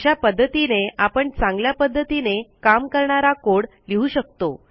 अशा पध्दतीने आपण चांगल्या पध्दतीने काम करणारा कोड लिहू शकतो